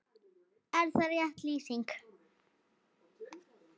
Er það rétt lýsing?